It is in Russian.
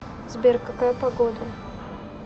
сбер какая погода